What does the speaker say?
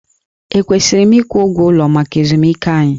Ekwesịrị m ịgwụ ụgwọ ụlọ maka ezumike anyị?